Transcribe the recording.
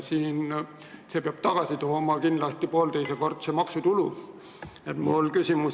Need peavad kindlasti poolteisekordse maksutulu tagasi tooma.